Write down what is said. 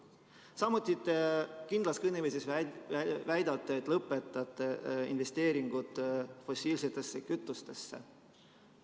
Samuti väidate kindlas kõneviisis, et lõpetate investeeringud fossiilsetesse kütustesse.